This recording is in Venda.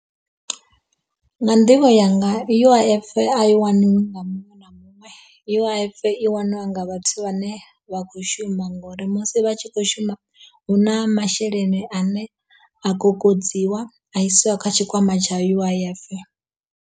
Nga nḓivho yanga U_I_F a i waniwi nga muṅwe na muṅwe, U_I_F i waniwa nga vhathu vhane vha kho shuma ngori musi vha tshi kho shuma hu na masheleni ane a kokodziwa a isiwa kha tshikwama tsha U_I_F.